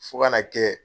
Fo ka na kɛ